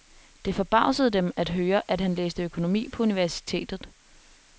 Det forbavsede dem at høre, at han læste økonomi på universitetet.